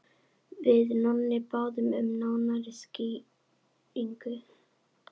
Við Nonni báðum um nánari skýringu.